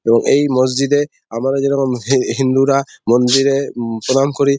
ও এ এই মসজিদ -এ আমরা যেখানে হে হিন্দুরা মন্দিরে প্রণাম করি ।